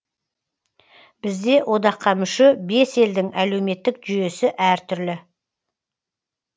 бізде одаққа мүше бес елдің әлеуметтік жүйесі әртүрлі